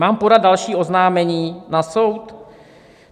Mám podat další oznámení na soud?